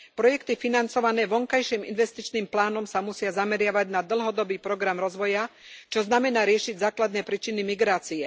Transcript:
Projekty financované vonkajším investičným plánom sa musia zameriavať na dlhodobý program rozvoja, čo znamená riešiť základné príčiny migrácie.